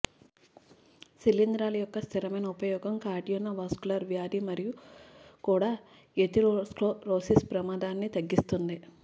శిలీంధ్రాలు యొక్క స్థిరమైన ఉపయోగం కార్డియోవాస్క్యులర్ వ్యాధి మరియు కూడా ఎథెరోస్క్లెరోసిస్ ప్రమాదాన్ని తగ్గిస్తుంది